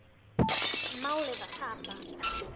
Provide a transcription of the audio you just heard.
Málið var tapað.